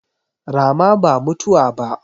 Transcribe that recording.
Rama ba mutuwa ba.